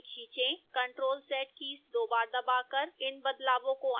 ctrl + z keys दो बार दबाकर इन बदलावों को अन्डू करें